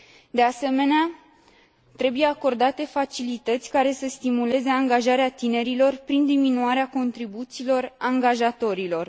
De asemenea, trebuie acordate facilități care să stimuleze angajarea tinerilor, prin diminuarea contribuțiilor angajatorilor.